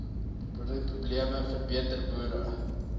boerderyprobleem verbeter boere